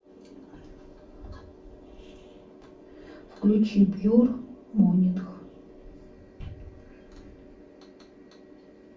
включи пьюр монинг